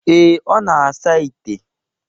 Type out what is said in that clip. ee, ọ na-asa ite.